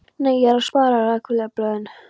Nei, ég er að spara. rakvélarblöðin.